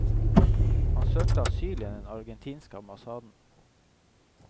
Han søkte asyl i den argentinske ambassaden.